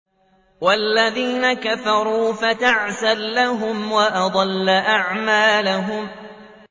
وَالَّذِينَ كَفَرُوا فَتَعْسًا لَّهُمْ وَأَضَلَّ أَعْمَالَهُمْ